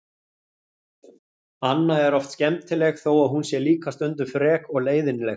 Anna er oft skemmtileg þó að hún sé líka stundum frek og leiðinleg.